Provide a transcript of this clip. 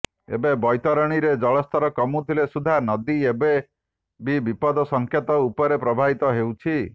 ଏବେ ବୈତରଣୀରେ ଜଳସ୍ତର କମୁଥିଲେ ସୁଦ୍ଧା ନଦୀ ଏବେ ବି ବିପଦ ସଂକେତ ଉପରେ ପ୍ରବାହିତ ହେଉଛି